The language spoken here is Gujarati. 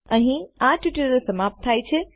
અહીં આ ટ્યુટોરીયલ સમાપ્ત થાય છે